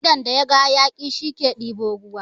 Idon da yaga hayaƙi, shi ke ɗebo ruwa.